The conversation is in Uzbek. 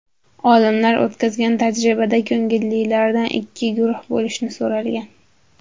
Olimlar o‘tkazgan tajribada ko‘ngillilardan ikki guruhga bo‘linishni so‘ralgan.